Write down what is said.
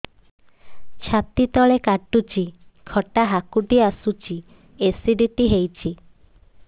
ଛାତି ତଳେ କାଟୁଚି ଖଟା ହାକୁଟି ଆସୁଚି ଏସିଡିଟି ହେଇଚି